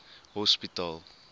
hospitaal